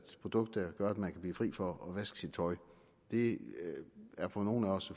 produkt der gør at man kan blive fri for at vaske sit tøj det er for nogle af os